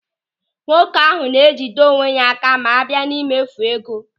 Nwoke ahụ na-ejide onwe ya áká ma abịa n'emefu ego.